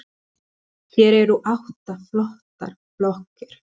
Hér eru átta flottar blokkir.